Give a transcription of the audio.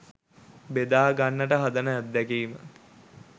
බෙදා ගන්නට හදන අත්දැකීම